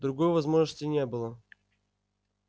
другой возможности не было